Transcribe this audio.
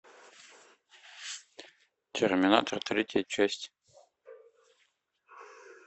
терминатор третья часть